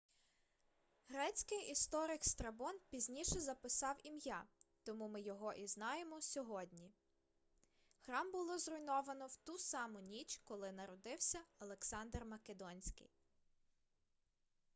грецький історик страбон пізніше записав ім'я тому ми його і знаємо сьогодні храм було зруйновано в ту саму ніч коли народився александр македонський